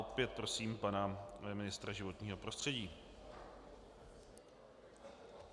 Opět prosím pana ministra životního prostředí.